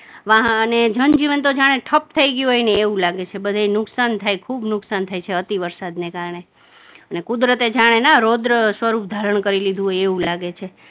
અને જનજીવન તો જાણે ઠપ થઇ ગયું હોય ને એવું લાગે છે, બધે નુકસાન થાય, ખુબ નુકસાન થાય છે અતિ વરસાદને કારણે ને કુદરતે જાણે ના રોદ્ર સ્વરૂપ ધારણ કરી લીધું હોય એવું લાગે છે.